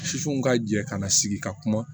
Sifinw ka jɛ ka na sigi ka kuma